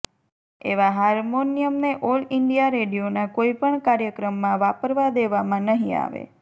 એવા હારમોનિયમને all India રેડિયોના કોઈપણ કાર્યક્રમમાં વાપરવા દેવામાં નહીં આવે